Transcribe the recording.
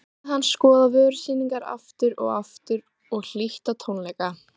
Þar hafði hann skoðað vörusýningar aftur og aftur og hlýtt á tónleika.